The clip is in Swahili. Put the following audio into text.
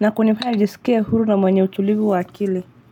na kunifaya nijisikie huru na mwenye utulivu wa akili.